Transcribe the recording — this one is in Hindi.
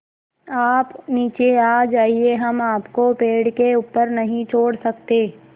आप नीचे आ जाइये हम आपको पेड़ के ऊपर नहीं छोड़ सकते